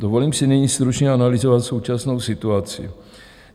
Dovolím si nyní stručně analyzovat současnou situaci.